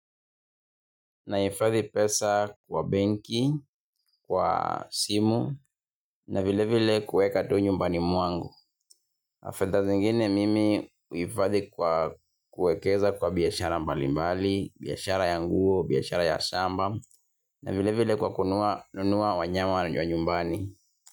Na hifadhi pesa kwa benki kwa simu na vile vile kuweka tu nyumbani mwangu fedha zingine mimi huhifadhi kwa kuekeza kwa biashara mbalimbali, biashara ya nguo, biashara ya shamba, na vile vile kwa kununua nunua wanyama wa nyumbani.